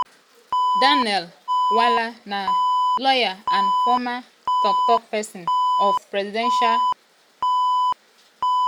daniel bwala na lawyer and former tok-tok pesin of people’s democratic party presidential candidate atiku abubakar.